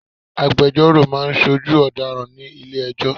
Agbejọ́rò máa ń ṣojú ọ̀daràn nílé ẹjọ́.